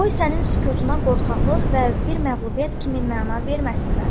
Qoy sənin sükutuna qorxaqlıq və bir məğlubiyyət kimi məna verməsinlər.